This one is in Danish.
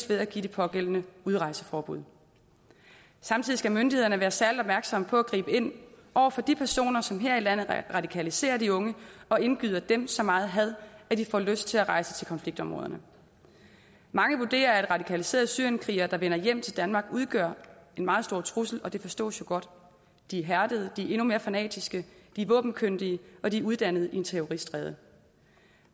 ved at give de pågældende udrejseforbud samtidig skal myndighederne være særlig opmærksomme på at gribe ind over for de personer som her i landet radikaliserer de unge og indgyder dem så meget had at de får lyst til at rejse til konfliktområderne mange vurderer at radikaliserede syrienskrigere der vender hjem til danmark udgør en meget stor trussel og det forstås jo godt de er hærdede de er endnu mere fanatiske de er våbenkyndige og de er uddannet i en terroristrede